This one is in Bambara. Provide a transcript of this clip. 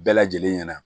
Bɛɛ lajɛlen ɲɛna